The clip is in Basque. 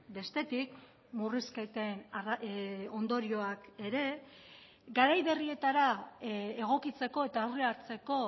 bestetik murrizketen ondorioak ere garai berrietara egokitzeko eta aurre hartzeko